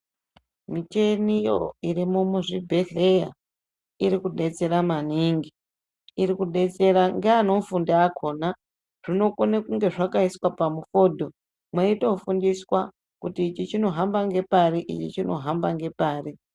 Micheniyo irimo muzvibhedhleya iri kubetsera maningi, iri kubetsera ngeanofunda akona. Zvinokone kunge zvakaiswa pamufodho mweitofundiswa kuti ichi chinohamba ngepari ichi chinohamba ngepari.